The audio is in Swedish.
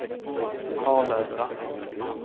Harlösa